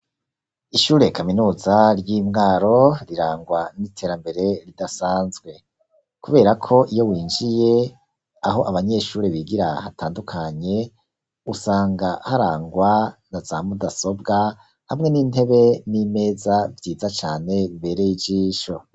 Ishure kaminuza ry'indaro rirangwa n'iterambere ridasanzwe n'iterambere ridasanzwe, kubera ko iyo winjiye, aho abanyeshure bigira hatandukanye usanga harangwa na za mudasobwa hamwe n'intebe n'imeza vyiza cane bibereye ijisho.